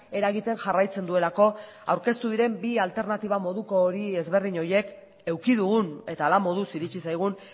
eragiten jarraitzen duelako aurkeztu diren bi alternatiba moduko hori ezberdin horiek eduki dugun eta hala moduz iritsi zaigun